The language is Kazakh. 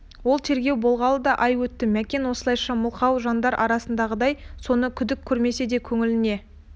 ол тергеу болғалы да ай өтті мәкен осылайша мылқау жандар арасындағыдай соны күдік көрмесе де көңіліне